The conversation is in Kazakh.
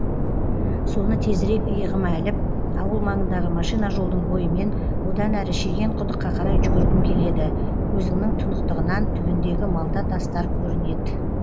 соны тезірек иығыма іліп ауыл маңындағы машина жолдың бойымен одан әрі шеген құдыққа қарай жүгіргім келедкөзіңнің тұнықтығынан түбіндегі малта тастар көрінет